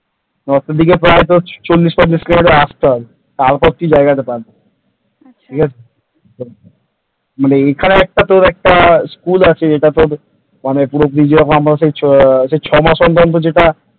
north দিকে প্রায় তোর ওই চল্লিশ পঞ্চাশ কিলোমিটার আসতে হবে তারপরে তোর ওই জায়গাটা পাবি । ঠিক আছে? তোর মানে এখানে তোর একটা একটা school আছে bridge র আমরা ওই।